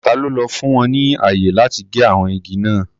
Ta ló fún wọn ní ààyè láti gé àwọn igi náà?